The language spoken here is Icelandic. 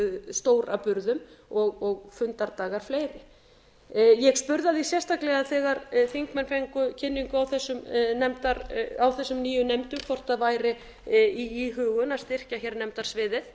stór að burðum og fundardagar fleiri ég spurði að því sérstaklega þegar þingmenn fengu kynningu á þessum nýju nefndum hvort það væri í íhugun að styrkja hér nefndasviðið